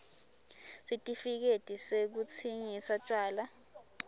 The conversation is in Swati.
sitifiketi sekutsingisa tjwala